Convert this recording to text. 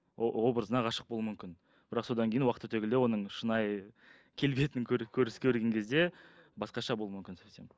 образына ғашық болуы мүмкін бірақ содан кейін уақыт өте келе оның шынайы келбетін көрген кезде басқаша болуы мүмкін совсем